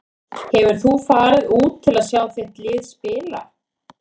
Hefur þú farið út til að sjá þitt lið spila?